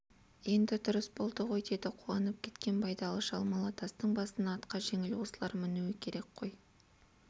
енді дұрыс болды ғой деді қуанып кеткен байдалы шал малатастың басына атқа жеңіл осылар мінуі керек қой